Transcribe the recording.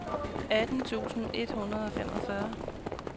atten tusind et hundrede og femogfyrre